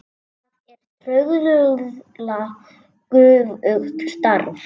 Það er trauðla göfugt starf.